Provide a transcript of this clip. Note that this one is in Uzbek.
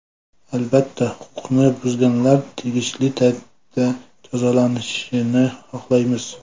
Albatta, huquqni buzganlar tegishli tartibda jazolanishini xohlaymiz.